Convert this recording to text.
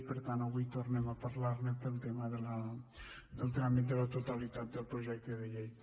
i per tant avui tornem a parlar ne pel tema del tràmit de la totalitat del projecte de llei